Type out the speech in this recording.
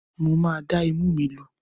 Mo máa dá imú mi lu.